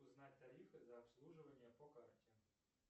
узнать тарифы за обслуживание по карте